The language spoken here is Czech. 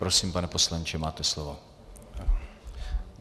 Prosím, pane poslanče, máte slovo.